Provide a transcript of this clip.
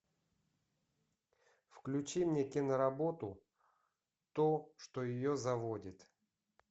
включи мне киноработу то что ее заводит